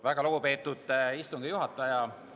Väga lugupeetud istungi juhataja!